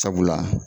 Sabula